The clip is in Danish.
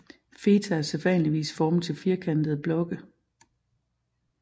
Feta er sædvanligvis formet til firkantede blokke